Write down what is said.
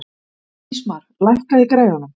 Ísmar, lækkaðu í græjunum.